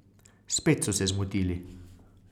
Spet so se zmotili.